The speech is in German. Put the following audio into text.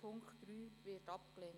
Punkt 3 wird abgelehnt.